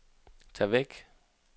tag væk